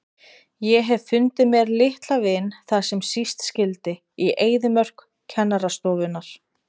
Ég hef fundið mér litla vin þar sem síst skyldi, í eyðimörk kennarastofunnar.